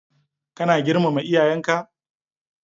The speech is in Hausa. Kana girmama iyayenka.